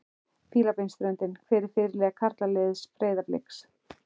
Fílabeinsströndinni Hver er fyrirliði karlaliðs Breiðabliks?